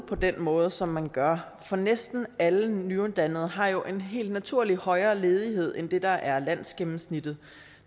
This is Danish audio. på den måde som man gør for næsten alle nyuddannede har jo helt naturligt en højere ledighed end det der er landsgennemsnittet